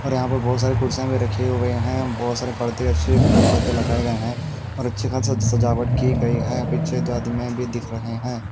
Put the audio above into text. और यहां पर बहोत सारे कुर्सियां भी रखी हुई है बहोत सारे परदे के ऊपर परदे लगाए गए हैं और अच्छा खासा सजावट की गई है और पीछे दो आदमीया भी दिख रहे हैं।